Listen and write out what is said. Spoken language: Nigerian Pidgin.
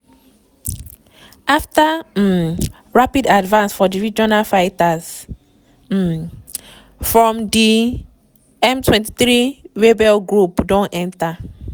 afta um rapid advance for di region fighters um from di m23 rebel group don enta